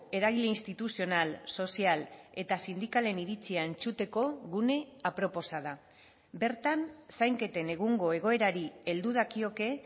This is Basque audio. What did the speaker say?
eragile instituzional sozial eta sindikalen iritzia entzuteko gune aproposa da bertan zainketen egungo egoerari heldu dakioke